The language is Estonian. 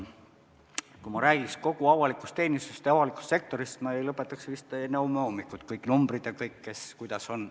Kui ma räägiks kogu avalikust teenistusest ja avalikust sektorist, siis ma ei lõpetaks vist enne homme hommikut, kõik numbrid ja kes kuidas on.